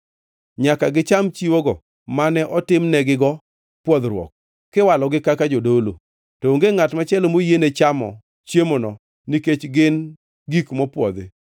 Nyaka gicham chiwogo mane otimnegigo pwodhruok kiwalogi kaka jodolo. To onge ngʼat machielo moyiene chamo chiemono nikech gin gik mopwodhi.